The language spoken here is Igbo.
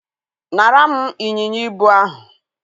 nara m ịnyịnya ibu ahụ.